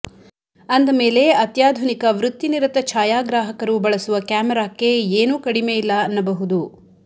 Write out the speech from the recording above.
ಅಂದ ಮೇಲೆ ಅತ್ಯಾಧುನಿಕ ವೃತ್ತಿನಿರತ ಛಾಯಾಗ್ರಾಹಕರು ಬಳಸುವ ಕ್ಯಾಮರಕ್ಕೆ ಏನೂ ಕಡಿಮೆಯಿಲ್ಲ ಅನ್ನಬಹುದು